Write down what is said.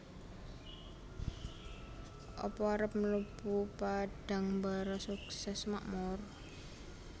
Apa arep mlebu Padangbara Sukses Makmur?